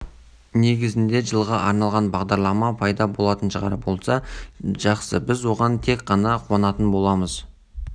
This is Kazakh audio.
тұжырымдамада қарастырылған болуы мүмкін мемлекеттік қызметкерлерді қоғамдық көлікке ауыстыру идеясы әлеуметтік желілерде күлкі туғызды бұл туралы